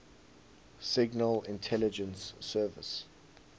signal intelligence service